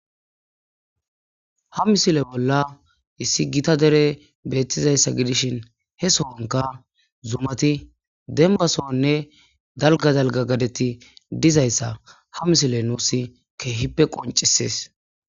Hha misile bolla issi gita dere beettizayssa gidishin he sohanka zumati denbasoanne dalga dalga gadeti dizayssa ha misile nuus keehippe qoncisees